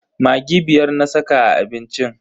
Maggi biyar na saka a abincin.